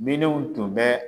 Minɛnw tun bɛ